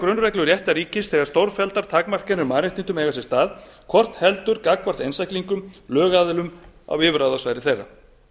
grunnreglur réttarríkis þegar stórfelldar takmarkanir á mannréttindum eiga sér stað hvort heldur gagnvart einstaklingum lögaðilum á yfirráðasvæði þeirra